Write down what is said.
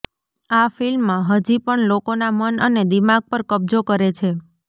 આ ફિલ્મ હજી પણ લોકોના મન અને દિમાગ પર કબજો કરે છે